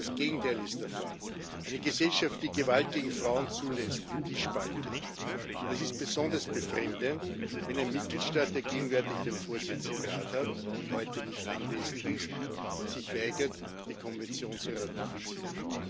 Das Gegenteil ist der Fall Eine Gesellschaft, die Gewalt gegen Frauen zulässt, die spaltet. Und es ist besonders befremdlich, wenn ein Mitgliedstaat, der gegenwärtig den Vorsitz im Rat hat und heute nicht anwesend ist, sich weigert, die Konvention zu ratifizieren.